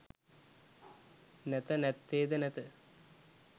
නැත නැත්තේ ද නැත